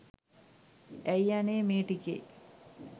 ඇයි අනේ මේ ටිකේ